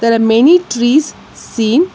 There are many trees seen.